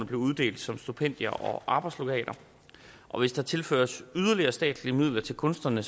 blev uddelt som stipendier og arbejdslegater og hvis der tilføres yderligere statslige midler til kunstnerne